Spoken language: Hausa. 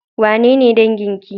Wanene dangin ki?